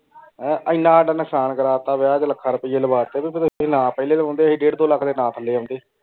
ਏਨਾ ਏਡ ਨੁਕਸਾਨ ਕਰਾਤਾ ਵਿਆਹ ਤੇ ਲਖਾਂ ਰੁਪਿਯਾ ਲਵਾ ਤੇ। ਪਹਲੋੰ ਏੰਡੀ ਅਸੀਂ ਡੇਢ਼ ਦੋ ਲੱਖ ਨਾ ਥੱਲੇ ਆਉਂਦੇ।